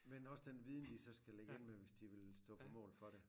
Men også den viden de så skal ligge inde med hvis de vil stå på mål for det